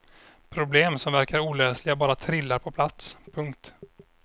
Problem som verkar olösliga bara trillar på plats. punkt